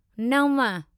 नंव